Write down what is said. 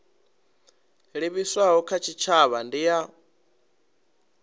livhiswaho kha tshitshavha ndi ya